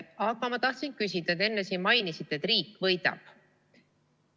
Aga ma tahtsin küsida selle kohta, et te enne mainisite, et riik võidab.